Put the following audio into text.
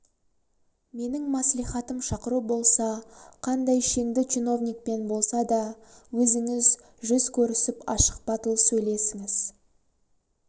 менің мәслихатым шақыру болса қандай шеңді чиновникпен болсада өзіңіз жүз көрісіп ашық батыл сөйлесіңіз